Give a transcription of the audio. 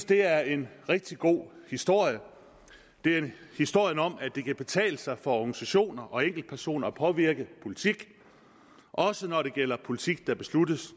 det er en rigtig god historie det er historien om at det kan betale sig for organisationer og enkeltpersoner at påvirke politik også når det gælder politik der besluttes